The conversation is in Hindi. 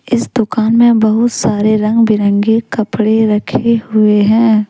इस दुकान में बहुत सारे रंग बिरंगे कपड़े रखें हुए है।